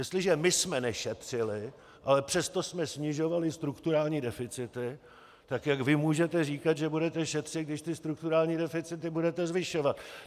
Jestliže my jsme nešetřili, a přesto jsme snižovali strukturální deficity, tak jak vy můžete říkat, že budete šetřit, když ty strukturální deficity budete zvyšovat?